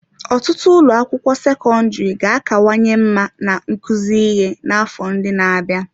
Ọtụtụ ụlọ akwụkwọ sekọndrị ga-akawanye mma na nkuzi ihe n'afọ ndị na-abịa.